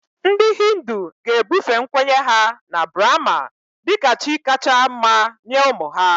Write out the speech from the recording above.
Ndị Hindu ga-ebufe nkwenye ha na Brahma dị ka chi kacha mma nye ụmụ ha